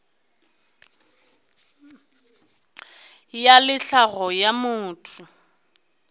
ya le tlhago ya motho